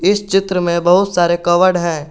इस चित्र में बहुत सारे कवर्ड है।